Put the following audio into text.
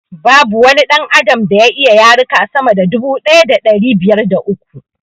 Babu wani ɗan adam da ya iya yaruka sama da dubu daya da ɗari biyar da uku